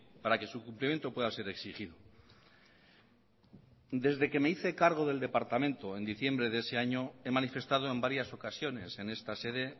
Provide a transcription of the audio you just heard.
para que su cumplimiento pueda ser exigido desde que me hice cargo del departamento en diciembre de ese año he manifestado en varias ocasiones en esta sede